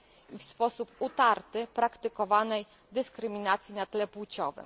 i w sposób utarty praktykowanej dyskryminacji na tle płciowej.